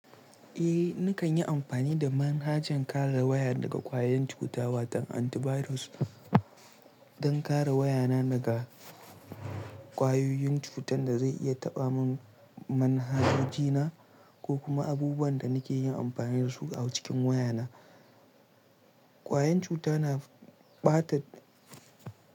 Eh, nakan yi amfani da manhajan kare waya daga ƙwayen cuta wato antivirus don kare wayana daga ƙwayoyin cutar da zai iya taɓa manhajoji na ko kuma abubuwan da nake yin amfani da su a cikin wayana. Ƙwayen cuta na ɓata.